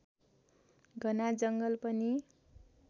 घना जङ्गल पनि